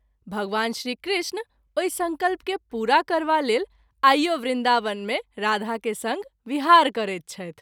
भगवान श्री कृष्ण ओहि संकल्प के पूरा करबा लेल आइओ वृन्दावन मे राधा के संग विहार करैत छथि।